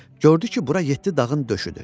Gördü ki, bura yeddi dağın döşüdür.